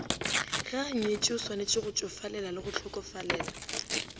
ge anyetšweo swanetšegotšofalelale go hlokofalela